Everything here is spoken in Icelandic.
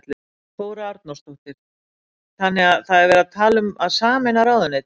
Þóra Arnórsdóttir: Þannig að það er verið að tala um að sameina ráðuneyti?